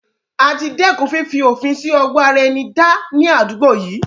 Àti dẹ́kun fifi òfin sì ọwọ ara ẹni dá ní àdúgbò yìí.